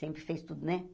Sempre fez tudo, né?